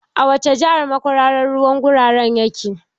A wace jahar makwararan ruwan gurara yake?